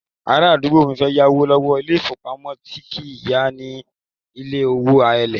Arádúgbò mi fẹ́ yáwó lọ́wọ́ ilé-ìfowópamọ́sí tí kìí yá ni ní owó èlé